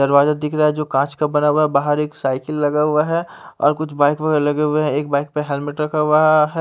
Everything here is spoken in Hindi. दरवाजा दिख रहा है जो कांच का बना हुआ है बाहर एक साइकिल लगा हुआ है और कुछ बाइक वगैरह लगे हुए हैं एक बाइक पर हेलमेट रखा हुआ है।